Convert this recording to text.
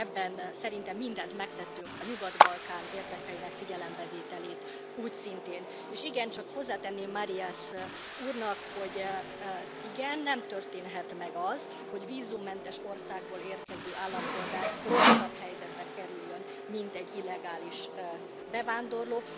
Úgyhogy ebben szerintem mindent megtettünk, a Nyugat Balkán érdekeinek figyelembevételét úgyszintén, és hozzátenném Marias úrnak, hogy nem, nem történhet meg az, hogy vízummentes országból érkező állampolgár rosszabb helyzetbe kerüljön, mint egy illegális bevándorló.